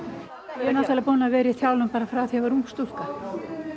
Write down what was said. er náttúrulega búin að vera í þjálfun frá því ég var ung stúlka